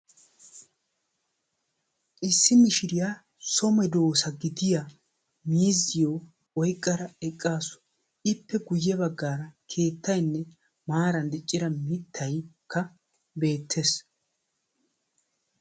Issi mishiriyaa so medoosa gidiya miizziyo oyqqada eqqasu. ippe guyye baggaara keettaynne maaran diccida mittaykka beettees